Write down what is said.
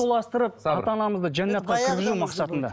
ата анамызды жаннатқа кіргізу мақсатында